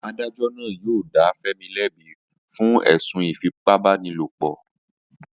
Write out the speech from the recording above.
Adájó̩ náà yóò dá Fé̩mi lé̩bi fún è̩sùn ìfipábánilòpò̩